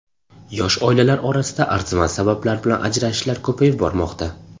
Yosh oilalar orasida arzimas sabablar bilan ajralishlar ko‘payib bormoqda.